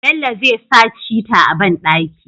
Bello zai sa shita a banɗaki